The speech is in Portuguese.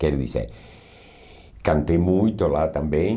Quer dizer, cantei muito lá também.